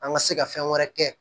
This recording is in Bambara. An ka se ka fɛn wɛrɛ kɛ